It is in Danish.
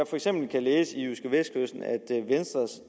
for eksempel læse i jydskevestkysten at venstres